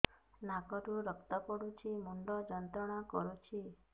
ନାକ ରୁ ରକ୍ତ ପଡ଼ୁଛି ମୁଣ୍ଡ ଯନ୍ତ୍ରଣା କରୁଛି